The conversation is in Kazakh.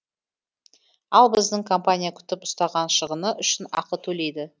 ал біздің компания күтіп ұстаған шығыны үшін ақы төлейді